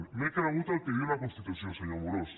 m’he cregut el que diu la constitució senyor amorós